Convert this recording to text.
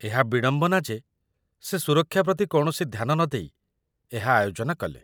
ଏହା ବିଡ଼ମ୍ବନା ଯେ ସେ ସୁରକ୍ଷା ପ୍ରତି କୌଣସି ଧ୍ୟାନ ନଦେଇ ଏହା ଆୟୋଜନ କଲେ